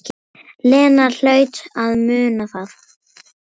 Lena hlaut að muna það.